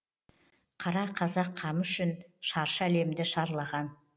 қара қазақ қамы үшін шаршы әлемді шарлаған